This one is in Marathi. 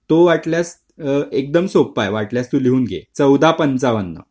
तो वाटल्यास एकदम सोप्पा वाटल्यास तू जेवून घे १४५५